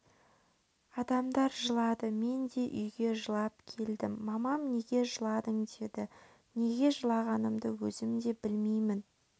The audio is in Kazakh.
адамдар жылады мен де үйге жылап келдім мамам неге жыладың деді неге жылағанымды өзім де білмеймін